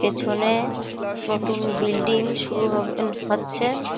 পেছনে নতুন বিল্ডিং শুরু হবে এ-এ হচ্ছে।